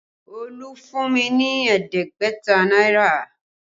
Olú fún mi ní ẹ̀ẹ́dẹ́gbẹ̀ta náírà